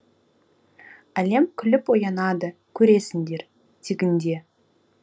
әлем күліп оянады көресіңдер тегінде